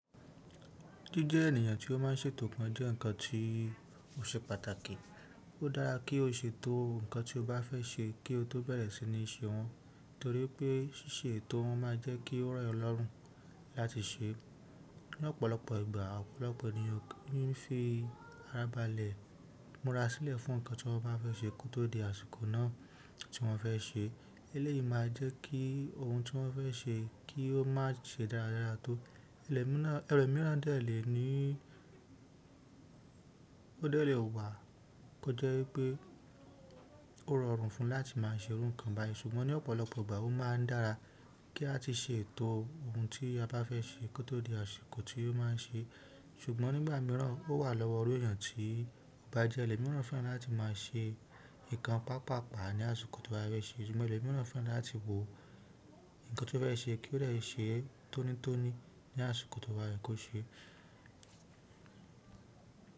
Kí jẹ́ ènìyàn tí ó má ń ṣètò kan jẹ́ ǹkan tí ó ṣe pàtàkì. Ó dára kí o ṣètò ǹkan tí o bá fẹ́ ṣe kí o tó bẹ̀rẹ̀ sí ní ṣe wọ́n torí pé ṣíṣe ètò wọn máa jẹ́ kí ó rọ̀ ọ lọ́rùn láti ṣe. Lọ́pọ̀lọpọ̀ ìgbà ọ̀pọ̀lọpọ̀ ènìyàn kì í fi ara balẹ̀ múra sílẹ̀ fún ǹkan tí wọ́n bá fẹ́ ṣe kó tó di àsìkò náà tí wọ́n fẹ́ ṣe. Eleyi maa jẹ kí oun ti wọn ṣe ki o ma ṣe dáradára tó. Ẹ̀rọ mìíràn dẹ̀ lè ní ó dẹ́lẹ̀ wà kí ó jẹ́ wípé ó rọrùn fún un láti má a ṣèrú ǹkan báyìí ṣùgbọ́n ní ọ̀pọ̀lọpọ̀ ìgbà ó máa ń dára kí a tí ṣètò ohun tí a bá fẹ́ ṣe kó tó di àsìkò tí o máa ń ṣe. Ṣùgbọ́n nígbà mìíràn ó wà lọ́wọ́ iru ènìyàn tí ó bá jẹ́ ẹlòmíràn fẹ́ràn láti máa ṣe nǹkan pàápàá ní àsìkò tí wọ́n bá fẹ́ ṣe ṣùgbọ́n ẹlòmíràn fẹ́ràn láti wo ǹkan tí wọ́n fẹ́ ṣe kí ó lè ṣe tónítóní ní àsìkò tí o ba yẹ ko ṣe.